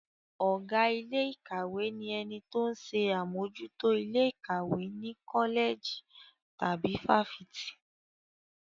Ọ̀gá ilé ìkàwé ni ẹni tó ń ṣe àmójútó ilé ìkàwé ní kọ́lẹ̀jì tàbí fáfitì.